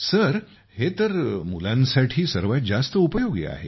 गौरव sir हे तर मुलांसाठी सर्वात जास्त उपयोगी आहे